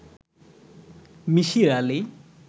Misir Ali